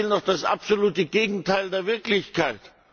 Sie erzählen doch das absolute Gegenteil der Wirklichkeit.